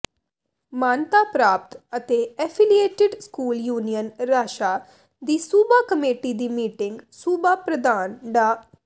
ਮਾਨਤਾ ਪ੍ਰਾਪਤ ਅਤੇ ਐਫ਼ੀਲੀਏਟਿਡ ਸਕੂਲ ਯੂਨੀਅਨ ਰਾਸ਼ਾ ਦੀ ਸੂਬਾ ਕਮੇਟੀ ਦੀ ਮੀਟਿੰਗ ਸੂਬਾ ਪ੍ਰਧਾਨ ਡਾ